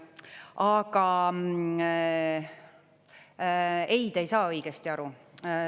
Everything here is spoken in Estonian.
Aga ei, te ei saa õigesti aru.